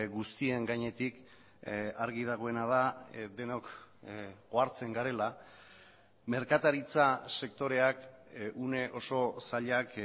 guztien gainetik argi dagoena da denok ohartzen garela merkataritza sektoreak une oso zailak